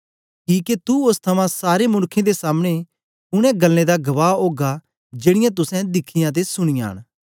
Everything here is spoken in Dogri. किके तू ओस थमां सारे मनुक्खें दे सामने उनै गल्लें दा गवाह ओगा जेड़ीयां तुसें दिखियां ते सुनीयां न